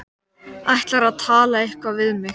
Ætlarðu að tala eitthvað við mig?